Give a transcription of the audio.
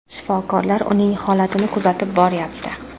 Shifokorlar uning holatini kuzatib boryapti.